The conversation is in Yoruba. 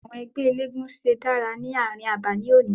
Àwọn ẹgbẹ́ eléégún ṣe dárà ní àárín àbà ní òní.